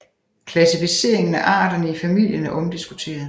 Klassificeringen af arterne i familien er omdiskuteret